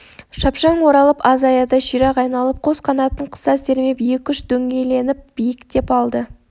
шапшаң оралып аз аяда ширақ айналып қос қанатын қыса сермеп екі-үш дөңгеленіп биіктеп алды